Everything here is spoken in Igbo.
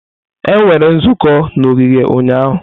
Emere nzukọ n'ogige ụnyahụ.